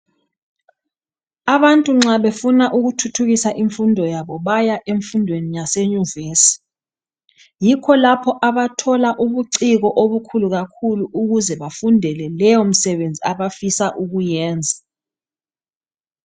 Abantu nxa befuna ukuthuthukisa imfundo yabo baya emfundweni yase nyuvesi. Yikho lapho abathola ubucibo obukhulu kakhulu ukuze bafundele leyo misebenzi abafisa ukuyenza.